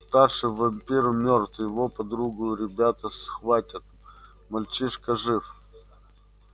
старший вампир мёртв его подругу ребята схватят мальчишка жив